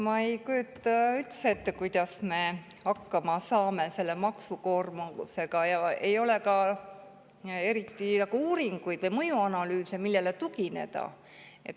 Ma ei kujuta üldse ette, kuidas me hakkama saame selle maksukoormusega, ei ole ka eriti uuringuid või mõjuanalüüse tehtud, millele tugineda.